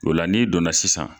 Ola n'i donna sisan.